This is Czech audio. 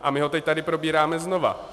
A my ho teď tady probíráme znova.